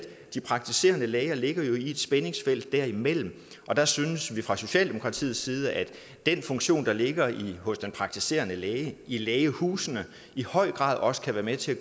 de praktiserende læger jo ligger i et spændingsfelt derimellem og der synes vi fra socialdemokratiets side at den funktion der ligger hos den praktiserende læge i lægehusene i høj grad også kan være med til